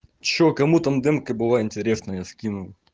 что кому там денка было интересно я скинул